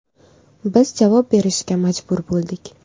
Biz javob berishga majbur bo‘ldik.